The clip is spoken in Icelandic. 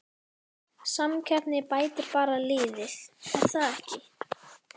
Samkeppnin bætir bara liðið er það ekki?